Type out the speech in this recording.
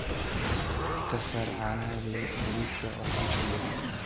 ka saar caanaha liiska wax iibsiga